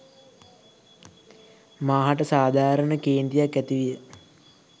මා හට සාධාරණ කේන්තියක් ඇතිවිය